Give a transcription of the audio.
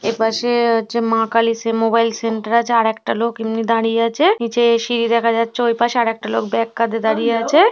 এপাশে হচ্ছে মা কালী সে-- মোবাইল সেন্টার আছে আর একটা লোক এমনি দাঁড়িয়ে আছে নিচে সিঁড়ি দেখা যাচ্ছে ওই পাশে আর একটা লোক ব্যাগ কাঁধে দাঁড়িয়ে আছে।